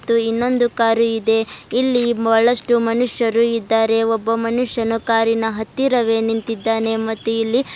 ಇನ್ನೊಂದು ಕಾರು ಇದೆ ಇಲ್ಲಿ ಬಹಳಷ್ಟು ಮನುಷ್ಯರು ಇದ್ದಾರೆ ಒಬ್ಬ ಮನುಷ್ಯನು ಕಾರಿನ ಹತ್ತಿರವೇ ನಿಂತಿದ್ದಾನೆ ಮತ್ತು ಇಲ್ಲಿ--